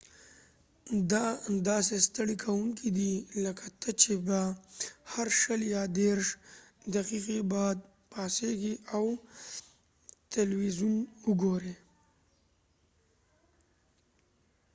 دا داسې ستړی کوونکی دی لکه ته چې به هر شل یا دیرش دقیقې بعد پاسیږي او تلویزون وګورې